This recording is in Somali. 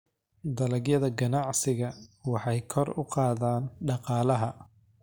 Dalagyada ganacsiga waxay kor u qaadaan dhaqaalaha.